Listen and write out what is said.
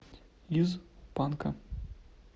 из панка